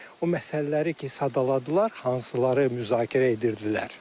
Yəni o məsələləri ki sadaladılar, hansıları müzakirə edirdilər.